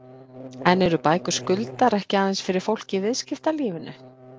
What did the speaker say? En eru bækur Skuldar ekki aðeins fyrir fólk í viðskiptalífinu?